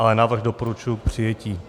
Ale návrh doporučuji k přijetí.